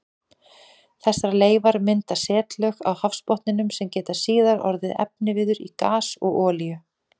Þessar leifar mynda setlög á hafsbotninum sem geta síðar orðið efniviður í gas og olíu.